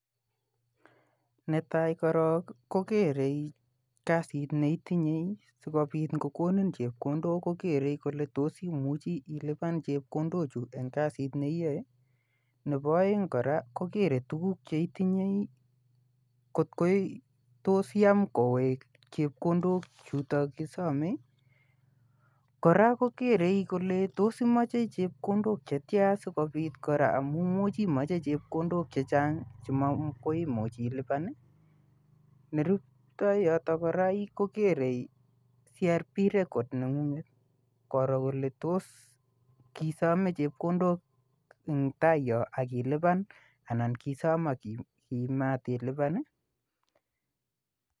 Netai korok kogerei kasit ne itinyei sigopit ngokonin chepkondok kokerei kole tos imuchi iluban chepkondochu en kasit neiyoe. Ne oeng kora kogere tuguk cheitinyei ngot tot koyam kowech chepkondok chutok kosomei. Kora kokerei kole tos imoche chepkondok chetia sigopit kora, amu imuchi imoche chepkondok chechang che makoi imuch iluban. Neruptoi yoto kora kogerei CRB Record nengunget. Koroo kole tos kisome chepkondok engtai yon ak iliban anan kiisom ak kimatiluban.